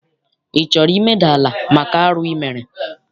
Ị chọrọ imeda ala maka arụ I mere?